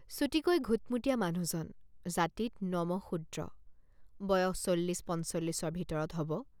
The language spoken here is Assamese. চুটিকৈ ঘুটমুটীয়া মানুহজন। জাতিত নমঃশূদ্ৰ বয়স চল্লিছ পঞ্চল্লিছৰ ভিতৰত হ'ব।